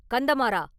“கந்தமாறா!